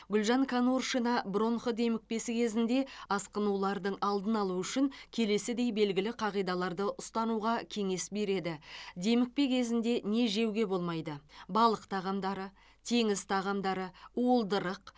гүлжан конуршина бронх демікпесі кезінде асқынулардың алдын алу үшін келесідей белгілі қағидаларды ұстануға кеңес береді демікпе кезінде не жеуге болмайды балық тағамдары теңіз тағамдары уылдырық